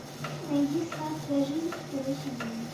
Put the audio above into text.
найди сладкая жизнь второй сезон